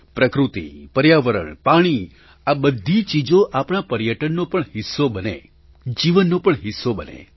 પ્રકૃતિ પર્યાવરણ પાણી આ બધી ચીજો આપણા પર્યટનનો પણ હિસ્સો બને જીવનનો પણ હિસ્સો બને